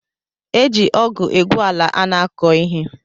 E ji ọgụ egwu ala a na-akọ ihe